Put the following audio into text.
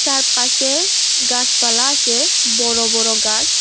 তার পাশে গাসপালা আসে বড় বড় গাস ।